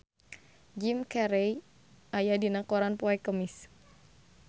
Jim Carey aya dina koran poe Kemis